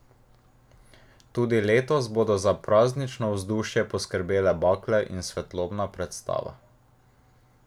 Tudi letos bodo za praznično vzdušje poskrbele bakle in svetlobna predstava.